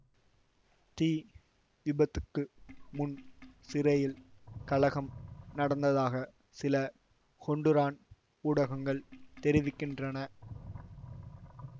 தீ விபத்துக்கு முன் சிறையில் கலகம் நடந்ததாக சில ஹொண்டுரான் ஊடகங்கள் தெரிவிக்கின்றன